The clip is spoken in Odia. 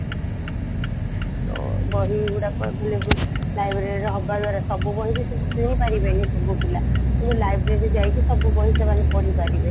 ତ ବହିଗୁଡାକ available libraryରେ ହବ ଦ୍ଵାରା ସବୁ ବହିବି ସବୁ କିଣିପାରିବେନି ସବୁ ପିଲା କିନ୍ତୁ library ଯାଇକି ସବୁବହି ସେମାନେ ପଢି ପାରିବେ